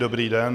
Dobrý den.